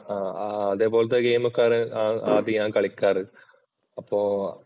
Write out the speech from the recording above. അതേപോലെ ഗെയിം ഒക്കെയാണ് ആദ്യം ഞാൻ കളിക്കാറ് അപ്പോ